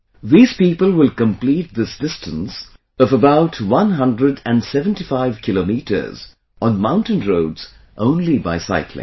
These people will complete this distance of about one hundred and seventy five kilometers on mountain roads, only by cycling